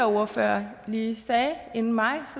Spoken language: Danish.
ordfører lige sagde inden mig